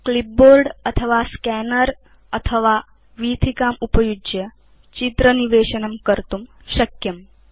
clipboard अथवा scanner उपयुज्य अथवा वीथिकात् इति चित्र निवेशनस्य अन्या पद्धतय सन्ति